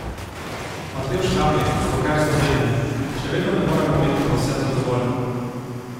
Matevž Kamnik, bloker Slovenije: 'Še vedno ne moremo biti povsem zadovoljni.